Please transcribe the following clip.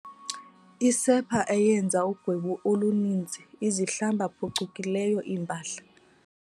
Isepha eyenza ugwebu oluninzi izihlamba phucukileyo iimpahla.